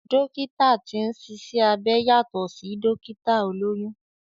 Dókítà tí ń ṣiṣẹ́ abẹ yàtọ̀ sí Dókítà olóyún